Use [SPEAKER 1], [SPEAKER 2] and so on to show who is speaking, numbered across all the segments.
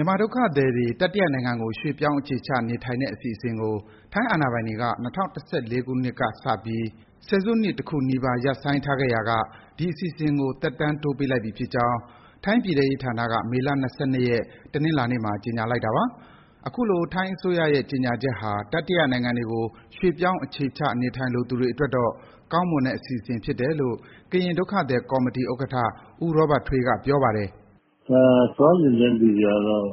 [SPEAKER 1] ြန်မာဒုက္ခသည်တွေ တတိယနိုင်ငံကို ရွေ့ပြောင်းအခြေချနေထိုင်တဲ့ အစီအစဥ်ကို ထိုင်းအာဏာပိုင်တွေက ၂၀၁၄ ခုနှစ်ကနေစပြီး ဆယ်စုနှစ် တခုနီးပါး ရပ်ဆိုင်းထားခဲ့ရာက ဒီအစီအစဥ်ကို သက်တမ်းတိုးပေးလိုက်ပြီဖြစ်ကြောင်း ထိုင်းပြည်ထဲရေးဌာနက မေလ ၂၂ ရက်၊ တနင်္လာနေ့မှာ ကြေညာလိုက်တာပါ။ အခုလို ထိုင်းအစိုးရရဲ့ ကြေညာချက်ဟာ တတိယနိုင်ငံတွေကို ရွေ့ပြောင်း အခြေချနေထိုင်လိုသူတွေအတွက်တော့ ကောင်းမွန်တဲ့ အစီအစဥ် ဖြစ်တယ်လို့ ကရင်ဒုက္ခသည်ကော်မီတီဥက္ကဌ ဦးရောဘတ်ထွေးက ပြောပါတယ်။ “
[SPEAKER 2] သွားချင်တဲ့လူတွေအတွက်တော့…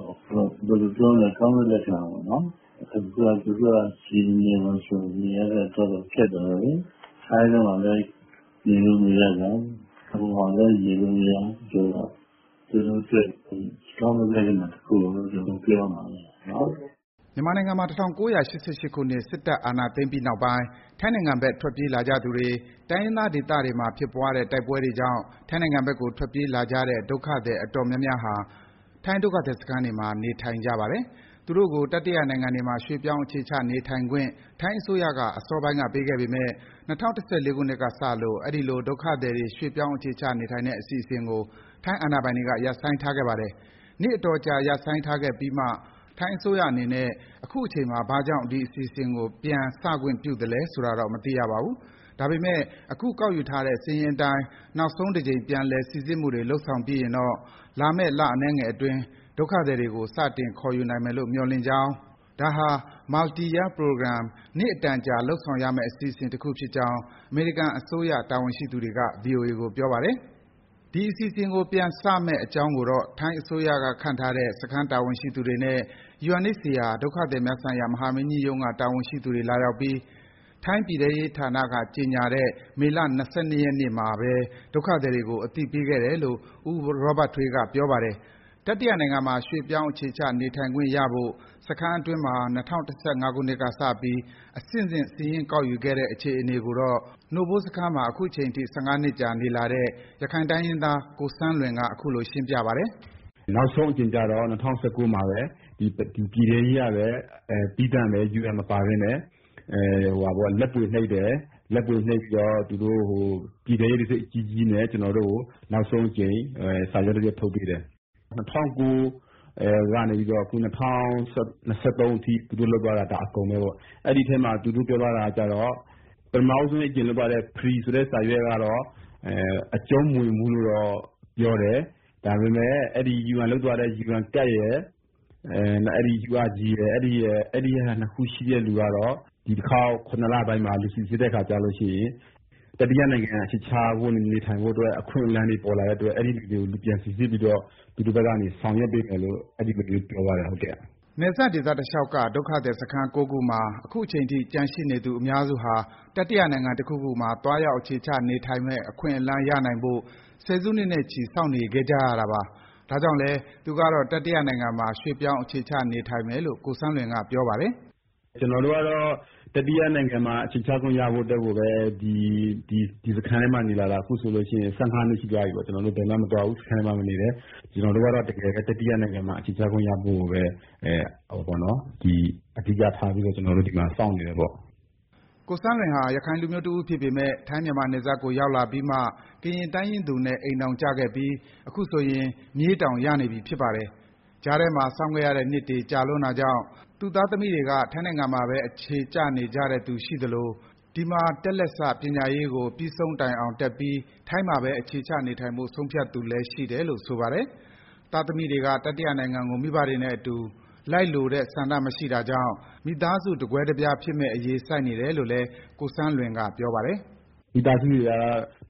[SPEAKER 2] ဘယ်လိုပြောမလဲ…. ကောင်းတဲ့လက္ခဏာပေါ့။ အခုက သူတို့က ဒီနေရာမှာ နေရတာ၊ စားသောက်ရတာ ခက်တောပေါ့နော်။ ထိုင်းထဲမှာလည်း နေလို့မရပြန်၊ ဟိုမှာလည်း နေလို့မရဆိုတော့ သူတို့အတွက် ကောင်းမွန်တဲ့လက္ခဏာတခုလို့ ပြောရမှာပေါ့နော်
[SPEAKER 1] ။” မြန်မာနိုင်ငံမှာ ၁၉၈၈ ခုနှစ် စစ်တပ်အာဏာသိမ်းပြီးနောက်ပိုင်း ထိုင်းနိုင်ငံဘက် ထွက်ပြေးလာကြသူတွေ၊ တိုင်းရင်းသားဒေသတွေမှာဖြစ်ပွားတဲ့ တိုက်ပွဲတွေကြောင့် ထိုင်းနိုင်ငံဘက်ကို ထွက်ပြေးလာကြတဲ့ ဒုက္ခသည် အတော်များများဟာ ထိုင်းဒုက္ခသည်စခန်းတွေမှာ နေထိုင်နေကြပါတယ်။ သူတို့ကို တတိယနိုင်ငံတွေမှာ ရွေ့ပြောင်းအခြေချ နေထိုင်ခွင့် ထိုင်းအစိုးရက အစောပိုင်းက ပေးခဲ့ပေမယ့် ၂၀၁၄ ခုနှစ်ကစလို့ အဲဒီလို ဒုက္ခသည်တွေ ရွေ့ပြောင်းအခြေချနေထိုင်တဲ့ အစီအစဉ်ကို ထိုင်းအာဏာပိုင်တွေက ရပ်ဆိုင်းထားခဲ့ပါတယ်။ နှစ်အတော်ကြာ ရပ်ဆိုင်းထားခဲ့ပြီးမှ ထိုင်းအစိုးရအနေနဲ့ အခုအချိန်မှာ ဘာကြောင့် ဒီအစီအစဥ်ကို ပြန်စခွင့်ပြသလဲဆိုတာတော့ မသိရပါဘူး။ ဒါပေမယ့် အခုကောက်ယူထားတဲ့ စာရင်းအတိုင်း နောက်ဆုံးတကြိမ် ပြန်လည် စိစစ်မှုတွေ လုပ်ဆောင်ပြီးရင်တော့ လာမယ့် လအနည်းငယ်အတွင်း ဒုက္ခသည်တွေကို စတင်ခေါ်ယူနိုင်မယ်လို့ မျှော်လင့်ကြောင်းနဲ့ ဒါဟာ Multi-year program − နှစ်အတန်ကြာ လုပ်ဆောင်ရမယ့် အစီအစဥ်တခုဖြစ်ကြောင်း အမေရိကန်အစိုးရ တာဝန်ရှိသူတွေက ဗွီအိုအေကို ပြောပါတယ်။ ဒီအစီအစဥ်ကို ပြန်စမယ့်အကြောင်းကိုတော့ ထိုင်းအစိုးရကခန့်ထားတဲ့ စခန်းတာဝန်ရှိသူတွေနဲ့ UNHCR ဒုက္ခသည်များဆိုင်ရာ မဟာမင်းကြီးရုံးက တာဝန်ရှိသူတွေလာရောက်ပြီး ထိုင်းပြည်ထဲရေးဌာနက ကြေညာတဲ့ မေလ ၂၂ ရက်နေ့မှာ ဒုက္ခသည်တွေကို အသိပေးခဲ့တယ်လို့ ဦးရောဘတ်ထွေးက ပြောပါတယ်။ တတိယနိုင်ငံမှာ ရွေ့ပြောင်းအခြေချနေထိုင်ခွင့်ရဖို့ စခန်းအတွင်းမှာ ၂၀၁၅ ခုနှစ်ကစပြီး အဆင့်ဆင့် စာရင်းကောက်ယူခဲ့တဲ့အခြေအနေကိုတော့ နို့ဘိုးစခန်းမှာ အခုချိန်ထိ ၁၅ နှစ်ကြာ နေလာတဲ့ ရခိုင်တိုင်းရင်းသား ကိုဆန်းလွင်က အခုလို ရှင်းပြပါတယ်
[SPEAKER 2] ။ “နောက်ဆုံးအကြိမ်ကျတော့ ၂၀၁၉ မှာဘဲ ဒီ ပြည်ထဲရေးကဘဲ သီးသန့်ဘဲ UN ပါဘဲနဲ့ လက်ဗွေနှိပ်တယ်။ ပြီးတော့ ပြည်ထဲရေးတံဆိပ် အကြီးကြီးနဲ့ ကျနော်တို့ကို နောက်ဆုံးအကြိမ် စာရွက်တရွက် ထုတ်ပေးတယ်။ ၂၀၀၉ ကနေ စတင်ပြီး အခု ၂၀၂၃ အထိ သူတို့လုပ်သွားတာ ဒါ အကုန်ဘဲပေါ့။ အဲဒီထဲမှာ သူတို့ပြောသွားတာကကျတော့ ပထမဦးဆုံးအကြိမ်လုပ်သွားတဲ့ Pre. ဆိုတဲ့ စာရွက်ကကျတော့ အကျုံးမဝင်ဘူးလို့တော့ ပြောတယ်။ ဒါပေမယ့် အဲဒီ UN ကလုပ်သွားတဲ့ UN ကဒ်ရယ်၊ URG ရယ်၊ အဲဒီဟာ ၂ ခုရှိတဲ့လူကတော့ ဒီတခေါက် ၇ လပိုင်းမှာ စိစစ်တဲ့အခါကျလို့ရှိရင် တတိယနိုင်ငံမှာ အခြေချနေထိုင်ဖို့ အခွင့်အလန်းတွေပေါ်လာတဲ့အတွက် အဲဒီလူတွေကို ပြန်စိစစ်ပြီးတော့ သူတို့ဘက်ကနေ ဆောင်ရွက်ပေးမယ်လို့ အဲဒီလိုမျိုး ပြောသွားတယ်။
[SPEAKER 1] ” နယ်စပ်ဒေသတလျှောက်က ဒုက္ခသည်စခန်း ၉ ခုမှာ အခုအချိန်ထိ ကျန်ရှိနေသူအများစုဟာ တတိယနိုင်ငံတခုခုမှာ သွားရောက် အခြေချနေထိုင်နိုင်မယ့် အခွင့်အလန်းရနိုင်ဖို့ ဆယ်စုနှစ်နဲ့ချီပြီး စောင့်နေခဲ့ကြရတာပါ။ ဒါကြောင့်လည်း သူကတော့ တတိယနိုင်ငံမှာ ရွေ့ပြောင်း အခြေချနေထိုင်မယ်လို့ ကိုဆန်းလွင်က ပြောပါတယ်။ “ကျနော်တို့ကတော့ တတိယနို
[SPEAKER 2] င်ငံမှာ အခြေချခွင့်ရဖို့အတွက်ကိုဘဲ ဒီစခန်းထဲမှာ နေလာတာ အခုဆိုလို့ရှိရင် ၁၅ နှစ် ရှိသွားပြီပေါ့။ ကျနော်လည်း ဘယ်မှမသွားဘူး၊ စခန်းထဲမှာဘဲနေတယ်။ ကျနော်တို့ကတော့ တကယ်ဘဲ တတိယနိုင်ငံမှာ အခြေချခွင့်ရဖို့ကိုဘဲ အဓိကထားပြီးတော့ ကျနော်တို့ ဒီမှာ စောင့်နေတယ်ပေါ့။
[SPEAKER 1] ” ကိုဆန်းလွင်ဟာ ရခိုင်လူမျိုးတဦးဖြစ်ပေမယ့် ထိုင်း−မြန်မာနယ်စပ်ကိုရောက်လာပြီးမှ ကရင်တိုင်းရင်သူနဲ့ အိမ်ထောင်ကျခဲ့ပြီး အခုဆိုရင် မြေးတောင် ရနေပြီ ဖြစ်ပါတယ်။ ကြားထဲမှာ စောင့်ခဲ့ရတဲ့နှစ်တွေ ကြာလွန်းတာကြောင့် သူ့သားသမီးတွေက ထိုင်းနိုင်ငံမှာဘဲ အခြေကျနေတဲ့သူ ရှိသလို၊ ဒီမှာတက်လက်စ ပညာရေးကို ပြီးဆုံးအောင်တက်ပြီး ထိုင်းမှာဘဲ အခြေချနေထိုင်ဖို့ ဆုံးဖြတ်တဲ့သူလည်း ရှိတယ်လို့ ဆိုပါတယ်။ သားသမီးတွေက တတိယနိုင်ငံကို မိဘတွေနဲ့အတူ လိုက်နေလိုတဲ့ဆန္ဒမရှိတော့တာကြောင့် မိသားစု တကွဲတပြားဖြစ်မယ့်အရေး ဆိုက်နေတယ်လို့လည်း ကိုဆန်းလွင်က ပြောပါတယ်။
[SPEAKER 2] “မိသားစုတွေက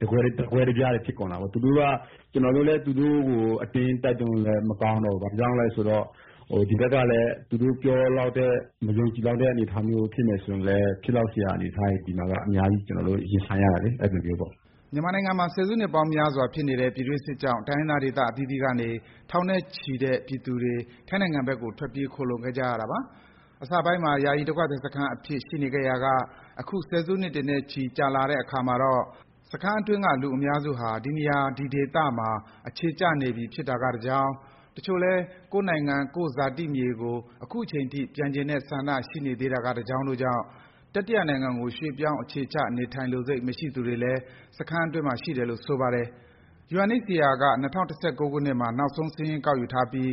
[SPEAKER 2] တကွဲတပြားတွေ ဖြစ်ကုန်တာပေါ့။ ကျနော်တို့လည်း သူတို့ကို အတင်းတိုက်တွန်းလို့လည်း မကောင်းတော့ဘူး။ ဘာကြောင့်လည်းဆိုတော့ ဒီဘက်ကလည်း သူတို့ပြောလောက်တဲ့၊ ယုံလောက်တဲ့အနေအထားမျိုး ဖြစ်မယ်ဆိုရင်လည်း ဖြစ်လောက်စရာ အနေအထားတွေ ဒီမှာ အများကြီး ကျနော်တို့ ရင်ဆိုင်ရတာလေ၊ အဲဒီလိုမျိုးပေါ့။
[SPEAKER 1] ” မြန်မာနိုင်ငံမှာ ဆယ်စုနှစ်ပေါင်းများစွာ ဖြစ်နေတဲ့ ပြည်တွင်းစစ်ကြောင့် တိုင်းရင်းသားဒေသအသီးသီးကနေ ထောင်နဲ့ချီတဲ့ ပြည်သူတွေ ထိုင်းနိုင်ငံဘက်ကို ထွက်ပြေး ခိုလှုံခဲ့ကြတာပါ။ အစပိုင်းမှာ ယာယီ ဒုက္ခသည်စခန်းအဖြစ် ရှိနေခဲ့ရာက အခု ဆယ်စုနှစ်တွေနဲ့ချီ ကြာလာတဲ့အခါမှာတော့ စခန်းအတွင်းက လူအများစုဟာ ဒီနေရာ ဒီဒေသမှာ အခြေကျနေပြီဖြစ်တာကတကြောင်း၊ တချို့လည်း ကိုယ့်နိုင်ငံ၊ ကိုယ့်ဇာတိမြေကို အခုချိန်ထိ ပြန်ချင်တဲ့ဆန္ဒ ရှိနေသေးတာကတကြောင်းတို့ကြောင့် တတိယနိုင်ငံကို ရွေ့ပြောင်း အခြေချနေထိုင်လိုစိတ် မရှိသူတွေလည်း စခန်းအတွင်းမှာ ရှိတယ်လို့ ဆိုပါတယ်။ UNHCR က ၂၀၁၉ ခုနှစ်မှာ နောက်ဆုံး စာရင်းကောက်ယူထားပြီး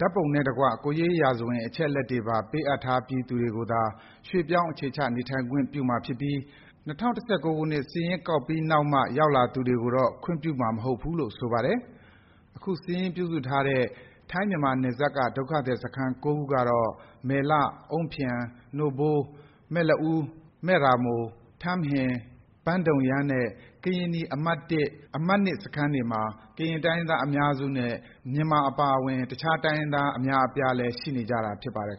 [SPEAKER 1] ၊ ဓာတ်ပုံနဲ့တကွ ကိုယ်ရေးရာဇဝင် အချက်အလက်တွေပါ ပေးအပ်ထားပြီးသူတွေကိုသာ ရွေ့ပြောင်း အခြေချနေထိုင်ခွင့် ပြုသွားမှာဖြစ်ပြီး ၂၀၁၉ ခုနှစ်စာရင်းမှာဘဲ နောက်မှ ရောက်လာသူတွေကိုတော့ ခွင့်ပြုမှာမဟုတ်ဘူးလို့ ဆိုပါတယ်။ အခုစာရင်းပြုစုထားတဲ့ ထိုင်း−မြန်မာနယ်စပ်က ဒုက္ခသည်စခန်း ၉ ခုကတော့ မယ့်လ၊ အုန်းဖျန်၊ နိုဖိုး၊ မယ့်လအူး၊ မယ့်ရာမို၊ ထမ်းဟင်၊ ဘန့်ဒုံယန်းနှင့် ကရင်နီအမှတ် ၊ အမှတ် စခန်းတွေမှာ ကရင်တိုင်းရင်းသား အများစုနဲ့ မြန်မာအပါအဝင် တခြား တိုင်းရင်းသား အများအပြားလည်း ရှိနေကြတာ ဖြစ်ပါတယ်